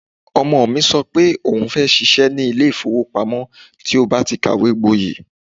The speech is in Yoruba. Ọmọ mi sọ pé òun fẹ́ ṣiṣẹ́ ní ilé ìfowópamọ́ tí ó bá ti kàwé gboyè.